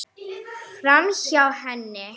Framhjá henni.